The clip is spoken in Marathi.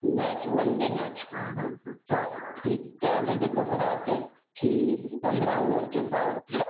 Match one day match. हा त्यामध्ये कसं राहते कि पंधरा वरचे पॉवर प्लेयर.